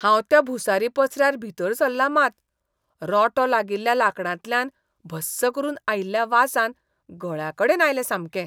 हांव त्या भुसारी पसऱ्यार भितर सरलां मात, रोंटो लागिल्ल्या लांकडांतल्यान भस्स करून आयिल्ल्या वासान गळ्याकडेन आयलें सामकें.